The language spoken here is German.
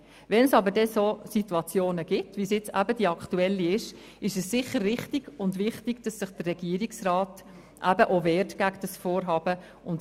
Wenn es dann aber eine solche Situation gibt, wie sie sich eben aktuell darstellt, ist es sicher richtig und wichtig, dass sich der Regierungsrat gegen dieses Vorhaben wehrt.